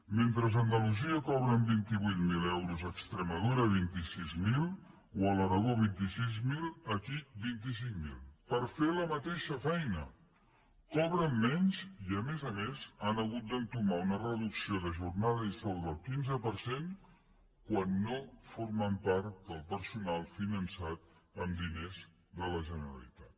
mentre a andalusia cobren vint vuit mil i a extremadura vint sis mil o a l’aragó vint sis mil aquí vint cinc mil per fer la mateixa feina cobren menys i a més a més han hagut d’entomar una reducció de jornada i sou del quinze per cent quan no formen part del personal finançat amb diners de la generalitat